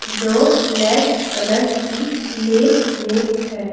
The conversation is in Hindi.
जो ब्लैक की प्लेट में है।